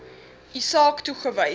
u saak toegewys